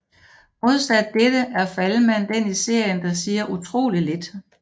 Modsat dette er Falman den i serien der siger utroligt lidt